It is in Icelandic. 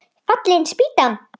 Fallin spýtan!